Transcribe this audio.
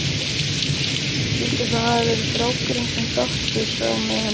Skyldi það hafa verið strákurinn sem Doddi sá með henni?